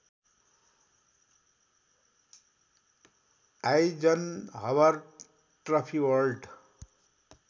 Eisenhower trophy world